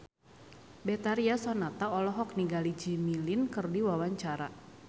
Betharia Sonata olohok ningali Jimmy Lin keur diwawancara